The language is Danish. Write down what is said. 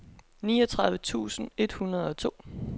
niogtredive tusind et hundrede og to